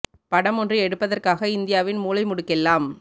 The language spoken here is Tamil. படம் ஒன்று எடுப்பதற்காக இந்தியாவின் மூலைமுடுக்கெல்லாம்